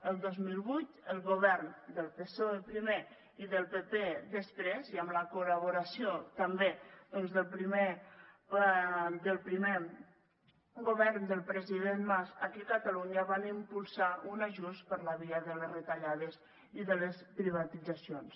el dos mil vuit el govern del psoe primer i del pp després i amb la col·laboració també doncs del primer govern del president mas aquí a catalunya va impulsar un ajust per la via de les retallades i de les privatitzacions